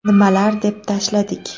Nimalar deb tashladik?